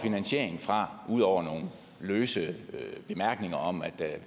fra ud over nogle løse bemærkninger om at